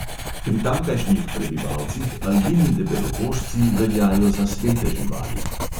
Pri tamkajšnjih prebivalcih albini debelokožci veljajo za svete živali.